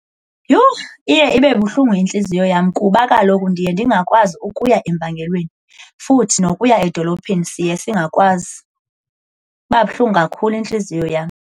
Yhu, iye ibe buhlungu intliziyo yam kuba kaloku ndiye ndingakwazi ukuya empangelweni, futhi nokuya edolophini siye singakwazi. Iba buhlungu kakhulu intliziyo yam.